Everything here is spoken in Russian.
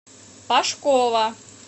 пашкова